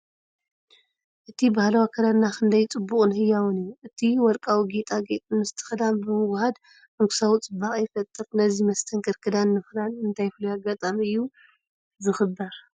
እቲ ባህላዊ ኣከዳድና ክንደይ ጽቡቕን ህያውን እዩ! እቲ ወርቃዊ ጌጣጌጥ ምስቲ ክዳን ብምውህሃድ ንጉሳዊ ጽባቐ ይፈጥር። ነዚ መስተንክር ክዳን ንምኽዳን እንታይ ፍሉይ ኣጋጣሚ እዩ ዝኽበር?